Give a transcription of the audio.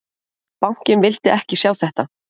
Bankinn vildi ekki sjá þetta